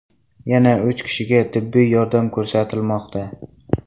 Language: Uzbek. Yana uch kishiga tibbiy yordam ko‘rsatilmoqda.